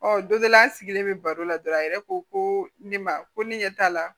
Ɔ don dɔ la an sigilen bɛ baro la dɔrɔn a yɛrɛ ko ko ne ma ko ne ɲɛ t'a la